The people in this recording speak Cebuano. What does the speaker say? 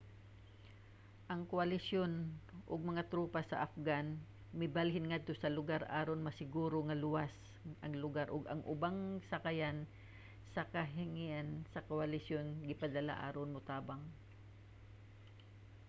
ang koalisyon ug mga tropa sa afghan mibalhin ngadto sa lugar aron masiguro nga luwas ang lugar ug ang ubang sakayan sa kahanginan sa koalisyon gipadala aron motabang